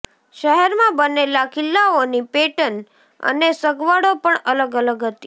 શહેરમાં બનેલા કિલ્લાઓની પેટર્ન અને સગવડો પણ અલગ અલગ હતી